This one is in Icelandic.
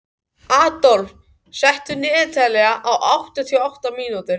Adolf, stilltu niðurteljara á áttatíu og átta mínútur.